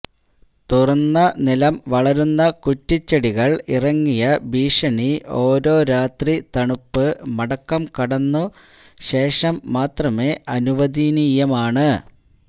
തുറന്ന നിലം വളരുന്ന കുറ്റിച്ചെടികൾ ഇറങ്ങിയ ഭീഷണി ഓരോ രാത്രി തണുപ്പ് മടക്കം കടന്നു ശേഷം മാത്രമേ അനുവദനീയമാണ്